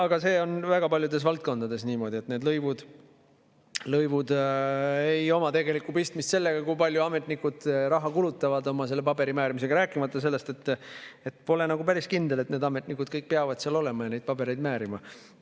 Aga see on väga paljudes valdkondades niimoodi, et need lõivud ei oma tegelikult pistmist sellega, kui palju ametnikud raha kulutavad oma paberimäärimisega, rääkimata sellest, et pole päris kindel, et need ametnikud kõik peavad seal olema ja neid pabereid määrima.